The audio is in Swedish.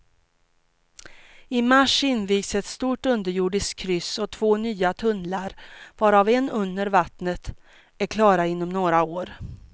I mars invigs ett stort underjordiskt kryss och två nya tunnlar, varav en under vattnet, är klara inom några år.